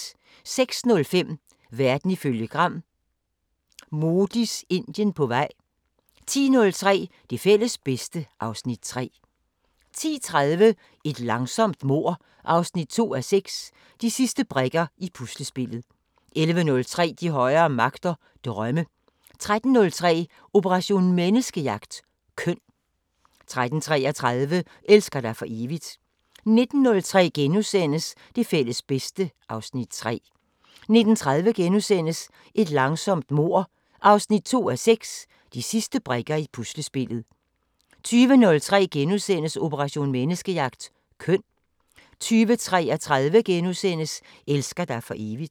06:05: Verden ifølge Gram: Modis Indien på vej 10:03: Det fælles bedste (Afs. 3) 10:30: Et langsomt mord 2:6 – De sidste brikker i puslespillet 11:03: De højere magter: Drømme 13:03: Operation Menneskejagt: Køn 13:33: Elsker dig for evigt 19:03: Det fælles bedste (Afs. 3)* 19:30: Et langsomt mord 2:6 – De sidste brikker i puslespillet * 20:03: Operation Menneskejagt: Køn * 20:33: Elsker dig for evigt *